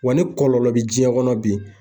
Wa ni kɔlɔlɔ be diɲɛ kɔnɔ bi